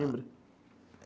Lembra?